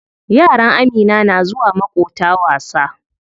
Yaran Amina na zuwa maƙota wasa.